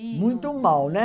Muito mal, né?